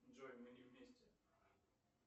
джой мы не вместе